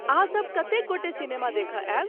अहाँ सब कतेक गोटे सिनेमा देखय आयब?